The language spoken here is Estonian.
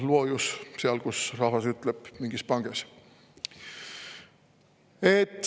Loojus, nagu rahvas ütleb, mingis panges.